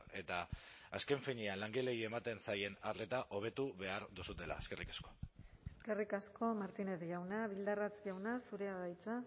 eta azken finean langileei ematen zaien arreta hobetu behar duzuela eskerrik asko eskerrik asko martínez jauna bildarratz jauna zurea da hitza